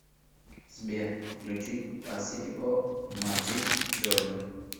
сбер включить пасифико маджид джордан